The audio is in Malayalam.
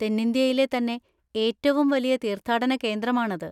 തെന്നിന്ത്യയിലെ തന്നെ ഏറ്റവും വലിയ തീർത്ഥാടന കേന്ദ്രമാണത്.